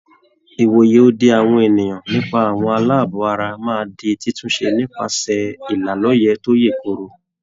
Ìwòye òdì àwọn ènìyàn nípa àwọn aláàbọ̀ ara máa di títúnṣe nípasẹ̀ ìlà lọ́yè tó yè Kooro.